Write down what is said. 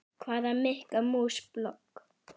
Hvaða Mikka mús blogg?